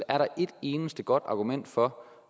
er der et eneste godt argument for